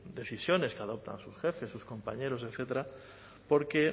decisiones que adoptan sus jefes sus compañeros etcétera porque